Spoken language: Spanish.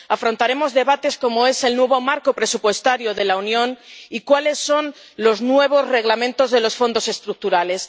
Afrontaremos debates como el del nuevo marco presupuestario de la Unión y cuáles son los nuevos Reglamentos de los Fondos Estructurales.